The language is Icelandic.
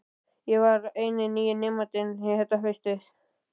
Ég var eini nýi nemandinn þetta haustið.